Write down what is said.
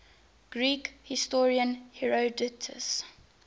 greek historian herodotus